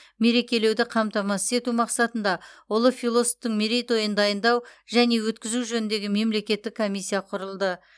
мерекелеуді қамтамасыз ету мақсатында ұлы философтың мерейтойын дайындау және өткізу жөніндегі мемлекеттік комиссия құрылды